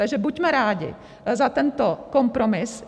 Takže buďme rádi za tento kompromis.